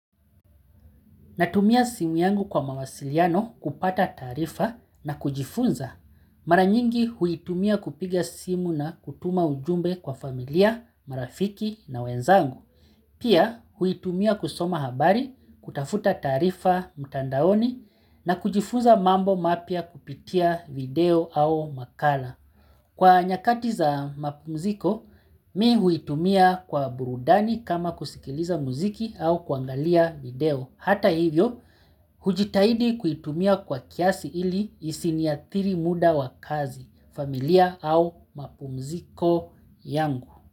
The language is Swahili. Natumia simu yangu kwa mawasiliano kupata taarifa na kujifunza. Mara nyingi huitumia kupiga simu na kutuma ujumbe kwa familia, marafiki na wenzangu. Pia huitumia kusoma habari, kutafuta taarifa, mtandaoni na kujifunza mambo mapya kupitia video au makala. Kwa nyakati za mapumziko, mimi huitumia kwa burudani kama kusikiliza muziki au kuangalia video. Hata hivyo, hujitahidi kuitumia kwa kiasi ili isiniathiri muda wa kazi, familia au mapumziko yangu.